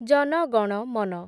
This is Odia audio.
ଜନ ଗଣ ମନ